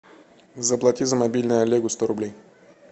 заплати за мобильный олегу сто рублей